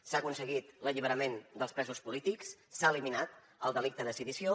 s’ha aconseguit l’alliberament dels presos polítics s’ha eliminat el delicte de sedició